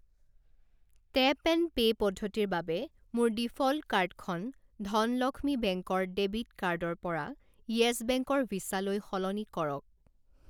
Tap and pay পদ্ধতিৰ বাবে মোৰ ডিফ'ল্ট কাৰ্ডখন ধনলক্ষ্মী বেংকৰ ডেবিট কাৰ্ড ৰ পৰা য়েছ বেংক ৰ ভিছা লৈ সলনি কৰক।